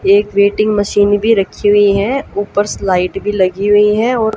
एक weighing machine भी रखी हुई हैं ऊपर स्लाइड भी लगी हुई हैं और--